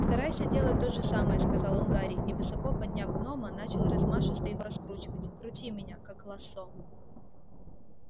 старайся делать то же самое сказал он гарри и высоко подняв гнома начал размашисто его раскручивать крути меня как лассо